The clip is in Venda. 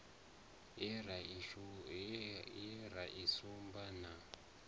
ye ra i sumba na